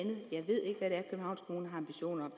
ambitioner